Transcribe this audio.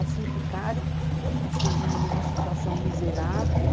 Assim, ficaram, assim, numa situação miserável.